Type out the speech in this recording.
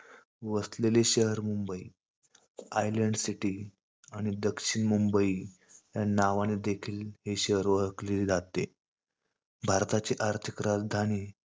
वसलेले शहर Mumbai Mumbai. island city आणि दक्षिण मुंबई या नावाने देखील शहर ओळखले जाते. भारताची आर्थिक राजधानी,